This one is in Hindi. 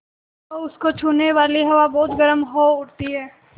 तो उसको छूने वाली हवा बहुत गर्म हो उठती है